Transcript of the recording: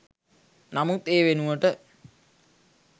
නමුත් ඒ වෙනුවට